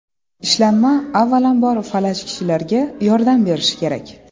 Ishlanma, avvalambor, falaj kishilarga yordam berishi kerak.